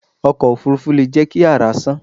Ọkọ̀ òfurufú leè jẹ́ ki àrá sán